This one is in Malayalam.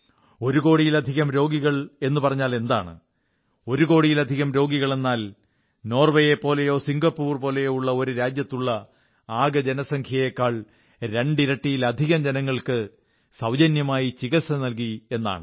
ഒരു കോടിയിലധികം രോഗികൾ എന്നു പറഞ്ഞാലെന്താണ് ഒരു കോടിയിലധികം രോഗികൾ എന്നാൽ നോർവ്വേയെപ്പോലെയോ സിംഗപ്പൂർ പോലെയോ ഒരു രാജ്യത്തുള്ള ആകെ ജനസംഖ്യയെക്കാൾ രണ്ടിരട്ടിയലധികം ജനങ്ങൾക്ക് സൌജന്യമായി ചികിത്സ നല്കി എന്നാണ്